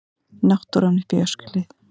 Náttúran uppi í Öskjuhlíð.